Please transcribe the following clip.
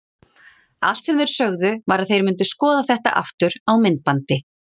Allt sem þeir sögðu var að þeir myndu skoða þetta aftur á myndbandi.